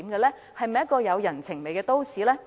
香港是否一個有人情味的都市？